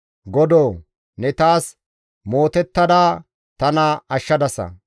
Godoo! Ne taas mootettada tana ashshadasa.